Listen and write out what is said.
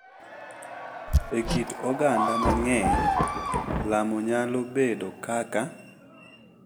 E kit oganda mang’eny, lamo nyalo bedo kaka .